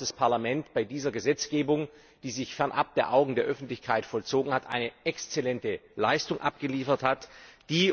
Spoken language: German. Das Parlament hat bei dieser Gesetzgebung, die sich fernab der Augen der Öffentlichkeit vollzogen hat, eine exzellente Leistung abgeliefert, die